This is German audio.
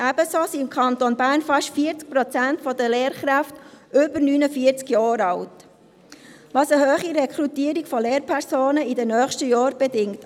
Ebenso sind im Kanton Bern fast 40 Prozent der Lehrkräfte über 49 Jahre alt, was eine hohe Rekrutierung von Lehrpersonen in den nächsten Jahren bedingt.